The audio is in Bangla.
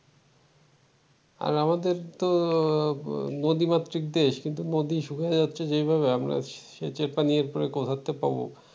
আর আমাদের তো নদী মাতৃক দেশ কিন্তু নদী শুকিয়ে যাচ্ছে যেভাবে আমরা সেচের পানি এরপরে কোথা থেকে পাব ।